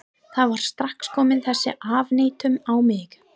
Það var strax komin þessi afneitun á mig.